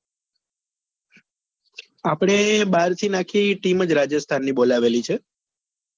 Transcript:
આપડે બાર થી બાર થી આખી team જ રાજસ્થાન ની બોલાવેલી છે.